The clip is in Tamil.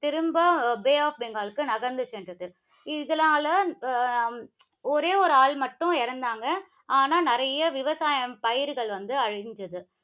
திரும்ப பே ஆப் பெங்கால்க்கு நகர்ந்து சென்றது. இதனால அஹ் உம் ஒரே ஒரு ஆள் மட்டும் இறந்தாங்க. ஆனா, நிறைய விவசாயம் பயிர்கள் வந்து அழிந்தது.